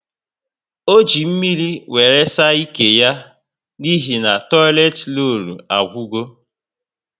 O ji mmírí wéré saa ike yá n'ihi toileti rollu agwugo